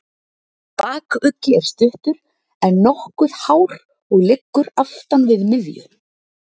Bakuggi er stuttur, en nokkuð hár og liggur aftan við miðju.